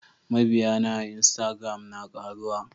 Mabiyana a instagram na karuwa.